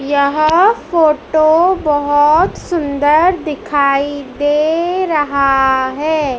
यह फोटो बहोत सुंदर दिखाई दे रहा है।